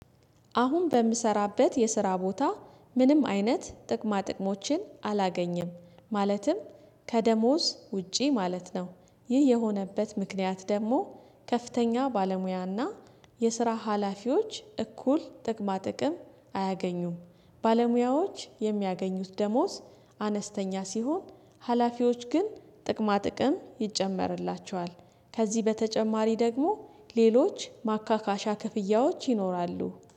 አሁን በምሰራበት የስራ ቦታ ምንም አይነት ጥቅማ ጥቅሞችን አላገኘም ማለትም ከደሞዝ ውጪ ማለት ነው። ይህ የሆነበት ምክንያት ደግሞ ከፍተኛ ባለሙያና የስራ ሀላፊዎች እኩል ጥቅማ ጥቅም አያገኙም። ባለሙያዎች የሚያገኙት ደሞዝ አነስተኛ ሲሆን ሀላፊዎች ግን ጥቅማ ጥቅም ይጨመርላቸዋል። ከዚህ በተጨማሪ ደግሞ ሌሎች ማካካሻ ክፍያዎች ይኖራሉ